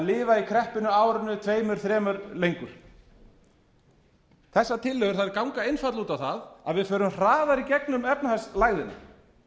lifa í kreppunni árinu tveimur þremur lengur þessar tillögur þær ganga einfaldlega út á það að við förum hraðar í gegnum efnahagslægðina